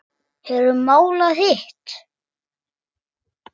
Hefurðu málað hitt?